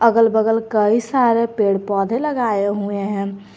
अगल बगल कई सारे पेड़ पौधे लगाए हुए हैं।